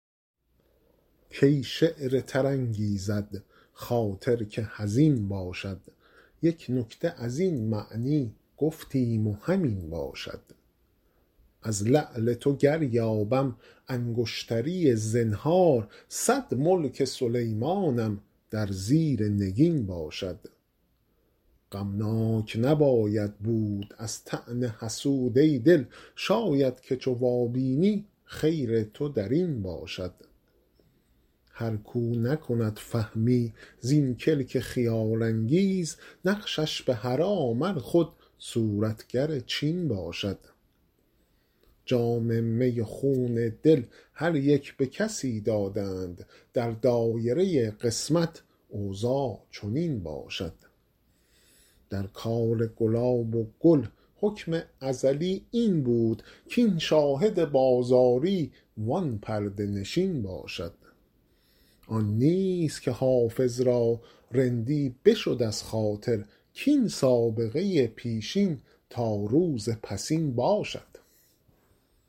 کی شعر تر انگیزد خاطر که حزین باشد یک نکته از این معنی گفتیم و همین باشد از لعل تو گر یابم انگشتری زنهار صد ملک سلیمانم در زیر نگین باشد غمناک نباید بود از طعن حسود ای دل شاید که چو وابینی خیر تو در این باشد هر کاو نکند فهمی زین کلک خیال انگیز نقشش به حرام ار خود صورتگر چین باشد جام می و خون دل هر یک به کسی دادند در دایره قسمت اوضاع چنین باشد در کار گلاب و گل حکم ازلی این بود کاین شاهد بازاری وان پرده نشین باشد آن نیست که حافظ را رندی بشد از خاطر کاین سابقه پیشین تا روز پسین باشد